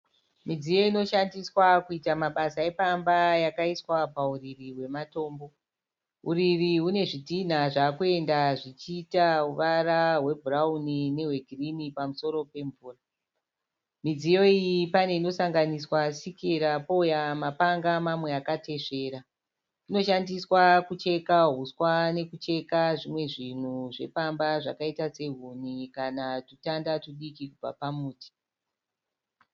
Midziyo inoshandiswa kuita mabasa epamba yakaiswa pauriri hwematombo. Uriri hune zvidhinha zvaakuenda zvichiita ruvara rwebhurauni nerwegirini pamusoro pemvura. Midziyo iyi pane inosanganiswa sikera pouya mapanga mamwe akatesvera. Inoshandiswa kucheka huswa nekucheka zvimwe zvinhu zvepamba zvakaita sehuni kana zvitanda zvidiki kubva pamuti.